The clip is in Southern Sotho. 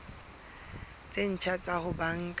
tse ntjha tsa ho banka